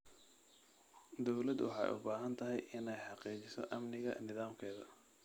Dawladdu waxay u baahan tahay inay xaqiijiso amniga nidaamkeeda.